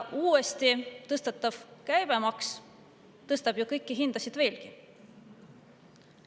Uuesti tõstetav käibemaks tõstab ju kõiki hindasid veelgi.